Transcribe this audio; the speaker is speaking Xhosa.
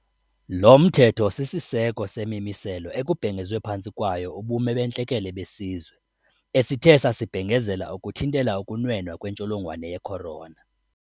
Lo mthetho sisiseko semimiselo ekubhengezwe phantsi kwayo ubume bentlekele besizwe esithe sasibhengezela ukuthintela ukunwena kwentsholongwane ye-corona.